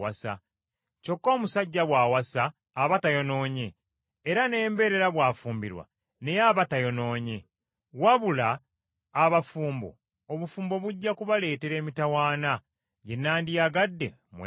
Kyokka omusajja bw’awasa aba tayonoonye, era n’embeerera bw’afumbirwa naye aba tayonoonye. Wabula abafumbo, obufumbo bujja kubaleetera emitawaana gye nandiyagadde mwewale.